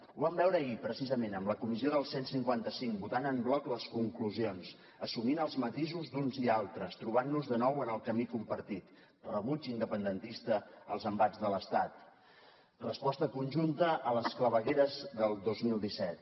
ho vam veure ahir precisament amb la comissió del cent i cinquanta cinc votant en bloc les conclusions assumint els matisos d’uns i altres trobant nos de nou en el camí compartit rebuig independentista als embats de l’estat resposta conjunta a les clavegueres del dos mil disset